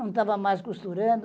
Não estava mais costurando.